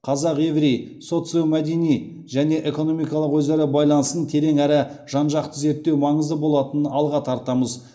қазақ еврей социомәдени және экономикалық өзара байланысын терең әрі жан жақты зерттеу маңызды болатынын алға тартамыз